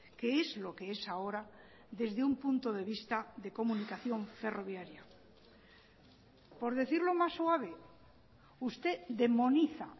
que es lo que es ahora desde un punto de vista de comunicación ferroviaria por decirlo más suave usted demoniza